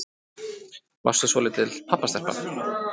Varstu svolítil pabbastelpa?